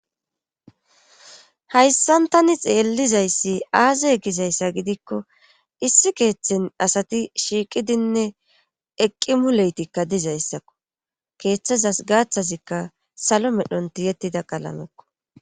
Hayssan tani xeellizayssi aaze egizayssa gidikko issi keeththen asati shiiqidinne eqqi muleytikka dizayssakko keeththazas gaaththazikka salo medhonti yettida qalamekko